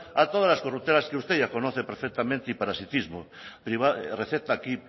a todas las corruptelas que usted ya conoce perfectamente y parasitismo receta aquí